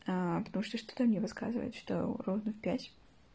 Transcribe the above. потому что что-то мне подсказывает что ровно в пять